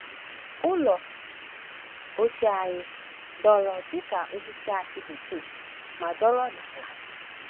“Ụlọ ochie anyị dọrọ dịka osisi akị bekee ma nọrọ n’ala,